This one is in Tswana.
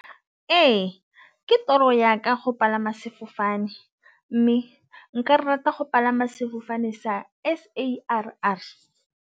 Ee, ke toro ya ka go palama sefofane mme nka rata go palama sefofane sa S_A_A.